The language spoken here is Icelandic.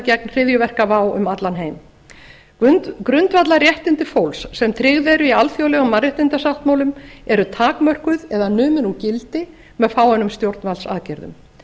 gegn hryðjuverkavá um allan heim grundvallarréttindi fólks sem tryggð eru í alþjóðlegum mannréttindasáttmálum eru takmörkuð eða numin úr gildi með fáeinum stjórnvaldsaðgerðum